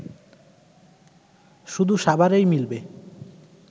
শুধু সাভারেই মিলবে